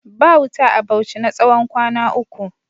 Ba wuta a Bauchi na tsawon kwana uku.